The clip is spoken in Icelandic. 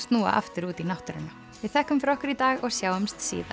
snúa aftur út í náttúruna við þökkum fyrir okkur í dag og sjáumst síðar